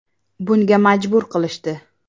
Bunga majbur qilishdi.